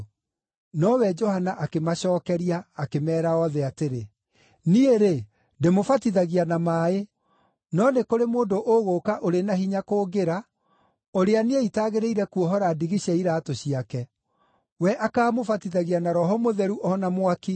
Nowe Johana akĩmacookeria akĩmeera othe atĩrĩ, “Niĩ-rĩ, ndĩmũbatithagia na maaĩ. No nĩ kũrĩ mũndũ ũgũũka ũrĩ na hinya kũngĩra, ũrĩa niĩ itagĩrĩire kuohora ndigi cia iraatũ ciake. We akaamũbatithagia na Roho Mũtheru o na mwaki.